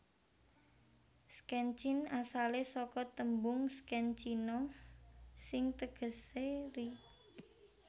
Szczecin asalé saka tembung szczecina sing tegesé ri